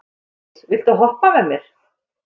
Koldís, viltu hoppa með mér?